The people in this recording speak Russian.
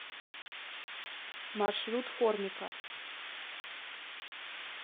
маршрут формика